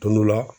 Tumu la